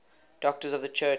doctors of the church